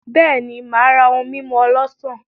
Beeni, Maa ra ohun mimu olosan.